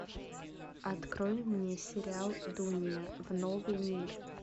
открой мне сериал дуния в новый мир